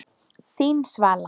Þín Svala.